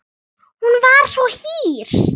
Hún var svo hýr.